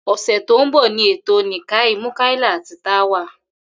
Ò̩sè̩ tó ń bò̩ ni ètò Nikkah Múkáílà àti Tawa